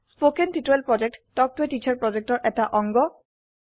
spoken tutorial প্ৰকল্প talk ত a teacher প্ৰকল্পৰ এটা অংগ